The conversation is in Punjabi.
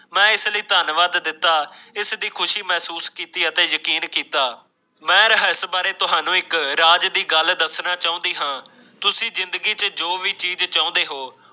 ਮੈਂ ਇਸ ਤੇ ਧੰਨਵਾਦ ਕੀਤਾ ਇਸ ਦੀ ਖੁਸ਼ੀ ਮਹਿਸੂਸ ਕੀਤੀ ਤੇ ਯਕੀਨ ਕੀਤਾ ਮੈਂ ਰਿਹਾ ਸੀ ਸ਼ਾਇਦ ਤੁਹਾਨੂੰ ਇੱਕ ਇੱਕ ਰਾਜ਼ ਦੀ ਗੱਲ ਦੱਸਣਾ ਚਾਹੁੰਦੀ ਹੈ ਤੁਸੀਂ ਜ਼ਿੰਦਗੀ ਵਿਚ ਜੋ ਵੀ ਚੀਜ਼ ਚਾਹੁੰਦੇ ਹੋ